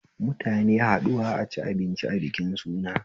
Mutane haɗuwa a ci abinci a bikin suna